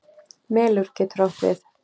Melur getur átt við